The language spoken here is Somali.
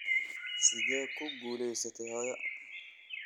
Sidee ku guulaysatay hooyo?